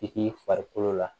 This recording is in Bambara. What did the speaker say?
I k'i farikolo la